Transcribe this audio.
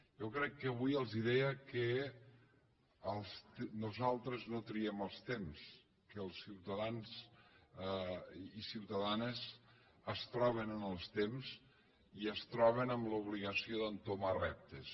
jo crec que avui els ho deia que nosaltres no triem els temps que els ciutadans i ciutadanes es troben en els temps i es troben amb l’obligació d’entomar reptes